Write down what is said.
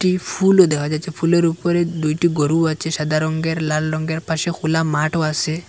এই ফুলও দেখা যাচ্ছে ফুলের উপরে দুইটি গরু আছে সাদা রঙ্গের লাল রঙ্গের পাশে খোলা মাঠও আছে।